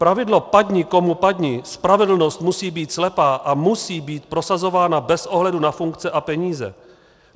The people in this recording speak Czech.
Pravidlo padni komu padni, spravedlnost musí být slepá a musí být prosazována bez ohledu na funkce a peníze.